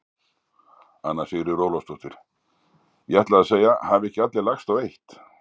Anna Sigríður Ólafsdóttir: Ég ætlaði að segja: Hafa ekki allir lagst á eitt?